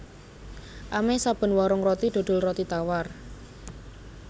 Amèh saben warung roti dodol roti tawar